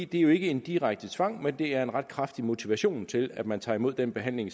det er jo ikke en direkte tvang men det er en ret kraftig motivation til at man tager imod den behandling